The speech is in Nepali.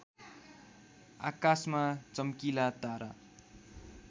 आकाशमा चम्किला तारा